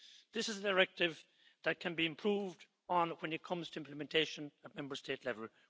This is a directive that can be improved on when it comes to implementation at Member State level.